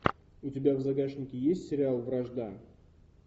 у тебя в загашнике есть сериал вражда